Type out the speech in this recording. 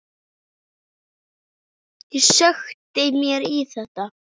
Ég sökkti mér í þetta.